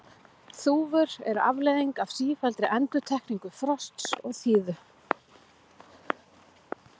þúfur eru afleiðing af sífelldri endurtekningu frosts og þíðu